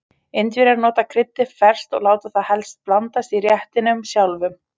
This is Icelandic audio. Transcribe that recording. Indverjar nota kryddið ferskt og láta það helst blandast í réttinum sjálfum.